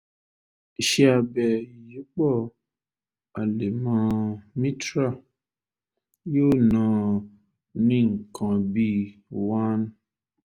ìṣẹ́ abẹ ìyípọ̀ àlẹmọ mitral yóò ná ọ ní nǹkan bíi one